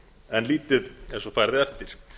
en lítið er svo farið eftir